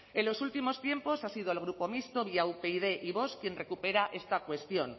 en los últimos tiempos ha sido el grupo mixto vía upyd y vox quien recupera esta cuestión